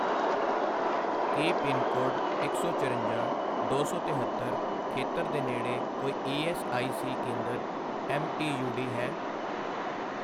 ਕੀ pincode ਇਕ ਸੌ ਚਰੰਜਾਂ, ਦੋ ਸੌ ਤਿਹੱਤਰ ਖੇਤਰ ਦੇ ਨੇੜੇ ਕੋਈ ਈ ਐੱਸ ਆਈ ਸੀ ਕੇਂਦਰ ਐਮ.ਈ.ਊ.ਡੀ ਹੈ?